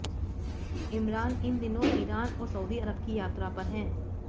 इमरान इन दिनों ईरान और सऊदी अरब की यात्रा पर है